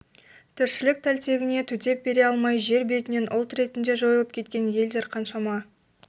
тіршілік тәлтегіне төтеп бере алмай жер бетінен ұлт ретінде жойылып кеткен елдер қаншама